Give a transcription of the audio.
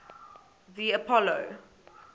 the apollo